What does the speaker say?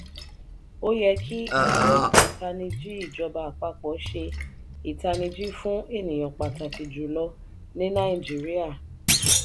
o yẹ kí àjọ ataniji ìjọba àpapọ̀ ṣe itaniji fún ènìyàn pàtàkì jùlọ ní nàìjíríà.